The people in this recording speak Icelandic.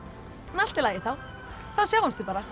allt í lagi þá þá sjáumst við bara